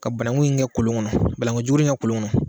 Ka banakun in kɛ kolon, banakun jukurun kɛ kolon kɔnɔ